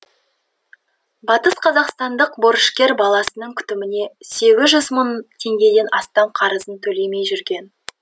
батысқазақстандық борышкер баласының күтіміне сегіз жүз мың теңгеден астам қарызын төлемей жүрген